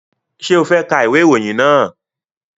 Ṣé o fẹ́ ka ìwé ìròyìn náà?